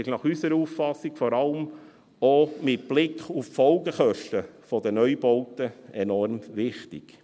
Nach unserer Auffassung ist dies vor allem auch mit Blick auf die Folgekosten der Neubauten enorm wichtig.